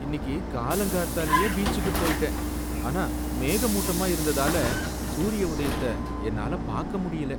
இன்னிக்கு காலங்கார்த்தாலேயே பீச்சுக்கு போயிட்டேன், ஆனா மேகமூட்டமா இருந்ததால சூரிய உதயத்த என்னால பார்க்க முடியல